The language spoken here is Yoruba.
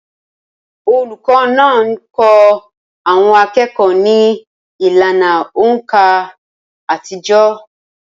Olùkọ́ náà ńkọ́ àwọn akẹ́kọ̀ọ́ ní ìlànà òǹkà àtijọ́